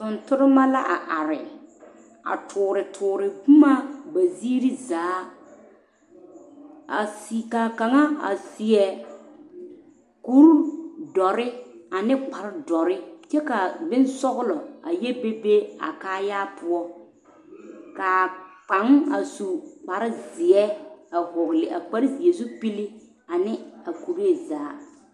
Tontonema la a are are toore toore boma ba ziiri zaa ka kaŋa a seɛ kurdɔre ane kparedɔre kyɛ ka bonsɔglɔ a yɛ be be a kaayaa poɔ ka kaŋ a su kparezeɛ a vɔgle a kparezeɛ zupili ane a kuree zaa.